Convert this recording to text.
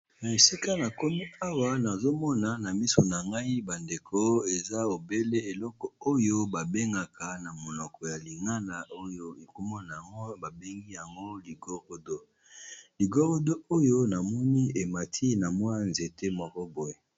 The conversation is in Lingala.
Na esika na komi awa nazo mona na miso na ngai ba ndeko, eza obele eloko oyo ba bengaka na monoko ya lingana oyo eko mona yango ba bengi yango ligorodo. Ligorodo oyo na moni e mati na mwa nzete moko boye .